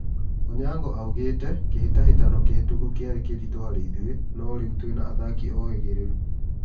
Onyango augĩ te" Kĩ hĩ tahĩ tano kĩ hĩ tũku kĩ arĩ kĩ ritũ harĩ ithuĩ .. no rĩ u twĩ na athaki ohĩ gĩ rĩ ru."